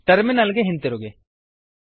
terminal ಗೆ ಹಿಂತಿರುಗಿ